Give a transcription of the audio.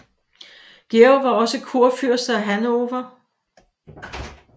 Georg var også kurfyrste af Hannover